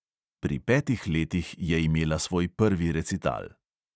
Pri petih letih je imela svoj prvi recital.